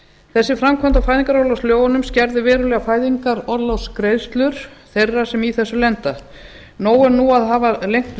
þessi framkvæmd á fæðingarorlofslögunum skerðir verulega fæðingarorlofsgreiðslur þeirra sem í þessu lenda nóg er nú að hafa lengt